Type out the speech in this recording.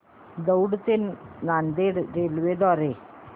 दौंड ते नांदेड रेल्वे द्वारे